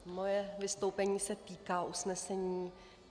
Moje vystoupení se týká usnesení.